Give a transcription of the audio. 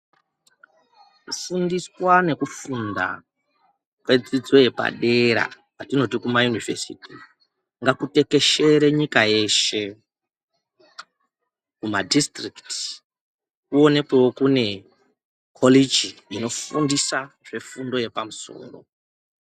Kufundiswa nekufunda kwedzidzo yepadera patinoti kuma univesithi, ngakutekeshere nyika yeshe, kuma dhisitirikiti, kuwonekewo kune kholichi inofundisa zvefundo yepamsoro.